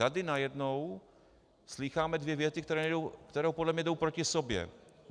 Tady najednou slýcháme dvě věty, které podle mě jdou proti sobě.